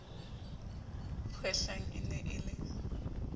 kgwehlang e ne e le